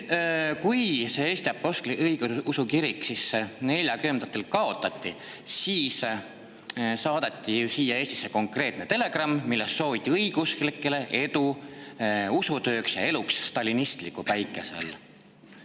Kui Eesti Apostlik-Õigeusu Kirik 1940‑ndatel kaotati, siis saadeti siia Eestisse konkreetne telegramm, milles sooviti õigeusklikele edu usutööks ja eluks stalinistliku päikese all.